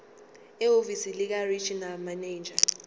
ehhovisi likaregional manager